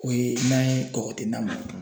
O ye n'a ye kɔgɔ te na kɛ